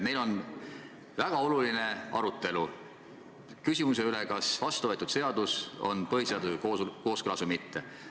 Meil käib väga oluline arutelu küsimuse üle, kas vastuvõetud seadus on põhiseadusega kooskõlas või mitte.